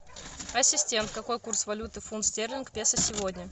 ассистент какой курс валюты фунт стерлинг песо сегодня